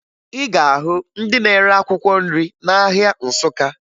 Ị ga-ahụ ndị na-ere akwụkwọ nri n'ahịa Nsụka